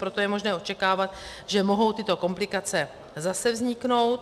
Proto je možné očekávat, že mohou tyto komplikace zase vzniknout.